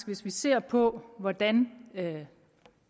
hvis vi ser på hvordan